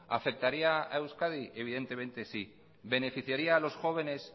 afectaría a euskadi evidentemente sí beneficiaria a los jóvenes